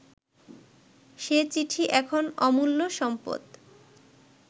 সে চিঠি এখন অমূল্য সম্পদ